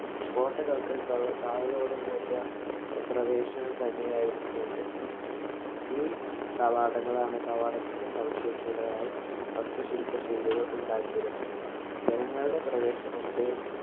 കോട്ടകള്‍ക്ക് കാവലോട് കൂടിയ ഒരു പ്രവേശനം തന്നെയായിരുന്നു ഇത്. ഈ കവാടങ്ങളാണ് കവാടങ്ങള്‍ക്ക് സവിശേഷതയായ വാസ്തു ശില്പ ശൈലികള്‍ കൊണ്ടുണ്ടാക്കിയിരുന്നത്. ജനങ്ങളുടെ പ്രവേശനത്തെ